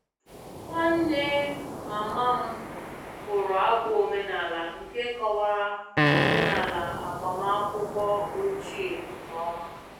Nwanne mama m bụrụ abụ omenala nke kọwara omenala agbamakwụkwọ ochie nke ọma